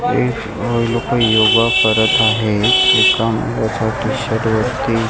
एक लोकं योगा करत आहेत एका याच्यावर टी_शर्ट वरती --